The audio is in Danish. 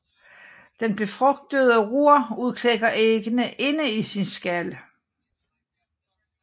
Den befrugtede rur udklækker æggene inde i sin skal